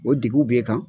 O deguw b'e kan